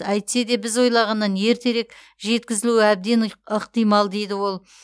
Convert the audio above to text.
әйтсе де біз ойлағаннан ертерек жеткізілуі әбден ықтимал дейді ол